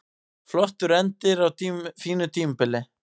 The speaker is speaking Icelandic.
Flottur endir á fínu tímabili